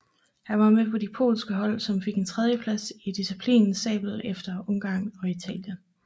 Han var med på de polske hold som fik en tredjeplads i disciplinen sabel efter Ungarn og Italien